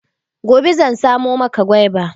Gobe zan samo maka gwaiba.